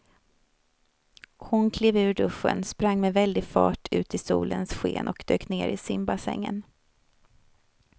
Hon klev ur duschen, sprang med väldig fart ut i solens sken och dök ner i simbassängen.